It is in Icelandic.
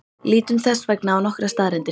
Lítum þess vegna á nokkrar staðreyndir.